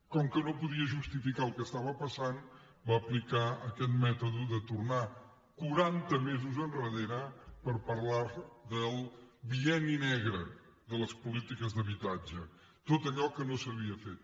com que no podia justificar el que passava va aplicar aquest mètode de tornar quaranta mesos endarrere per parlar del bienni negre de les polítiques d’habitatge tot allò que no s’havia fet